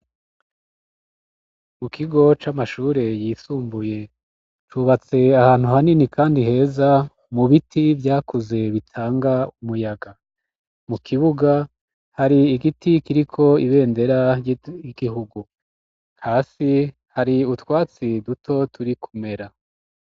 Mu kigo c'amashure yisumbuye. Cubatse ahantu hanini kandi heza, mu biti vyakuze bitanga umuyaga. Mu kibuga, hari igiti kiriko ibendera ry'igihugu. Hasi, hari utwatsi duto turi kumera.